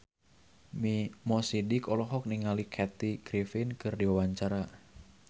Mo Sidik olohok ningali Kathy Griffin keur diwawancara